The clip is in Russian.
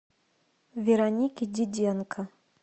веронике диденко